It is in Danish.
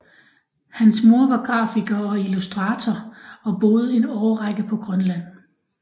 Hans mor var grafiker og illustrator og boede en årrække på Grønland